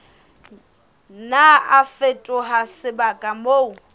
nna a fetoha sebaka moo